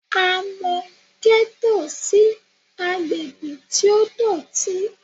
A mọ gẹ́tò sí agbègbè tí ó dọ̀tí